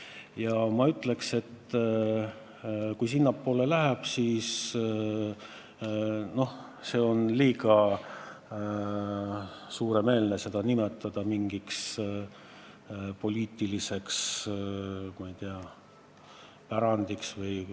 Ja ma ütleks, kui jutt juba sinnapoole läks, et on liiga suureline nimetada seda mingiks poliitiliseks, ma ei tea, pärandiks.